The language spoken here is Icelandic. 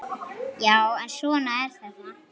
Já, en svona er þetta.